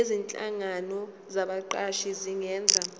nezinhlangano zabaqashi zingenza